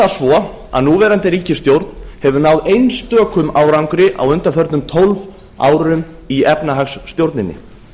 það svo að núverandi ríkisstjórn hefur náð einstökum árangri á undanförnum tólf árum í efnahagsstjórninni